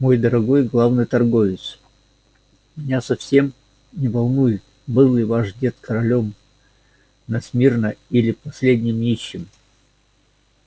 мой дорогой главный торговец меня совсем не волнует был ли ваш дед королём на смирно или последним нищим